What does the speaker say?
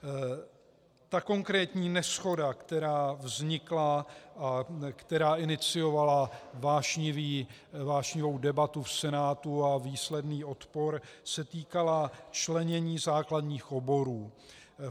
Ta konkrétní neshoda, která vznikla a která iniciovala vášnivou debatu v Senátu a výsledný odpor, se týkala členění základních oborů.